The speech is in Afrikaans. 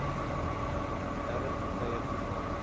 derde partye toegang